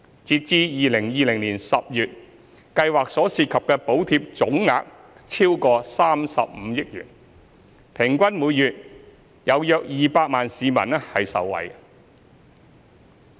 截至2020年10月，計劃所涉及的補貼總額超過35億元，平均每月約200萬名市民受惠。